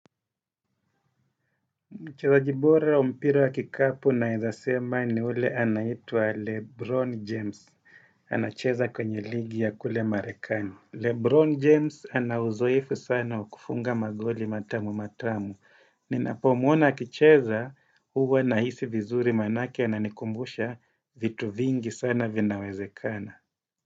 Mchezaji bora wa mpira ya kikapu naeza sema ni yule anaitwa Lebron James. Anacheza kwenye ligi ya kule marekani. Lebron James ana uzoefu sana wa kufunga magoli matamu matamu. Ninapo muona akicheza huwa nahisi vizuri manake ananikumbusha vitu vingi sana vinawezekana.